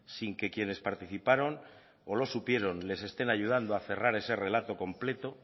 sin que quienes participaron o lo supieron les estén ayudando a cerrar ese relato completo